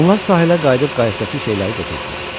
Onlar sahilə qayıdıb qayıqdakı şeyləri götürdülər.